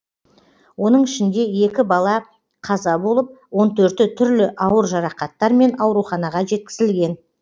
оның ішінде екі бала қаза болып он төрті түрлі ауыр жарақаттармен ауруханаға жеткізілген